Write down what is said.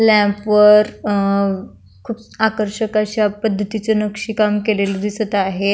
Lamp वर अ खुप आकर्षक अशा पद्धतीच नक्षीदार काम केलेल दिसत आहे.